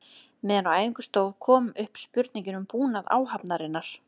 Meðan á æfingum stóð kom upp spurningin um búnað áhafnarinnar.